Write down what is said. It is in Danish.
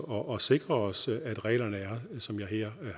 og sikrer os at reglerne er som jeg her